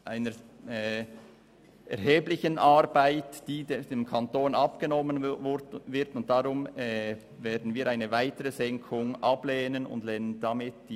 Dieser Aufwand wird dem Kanton abgenommen, und deshalb lehnen wir eine weitere Senkung ab und damit auch den Abänderungsantrag 5.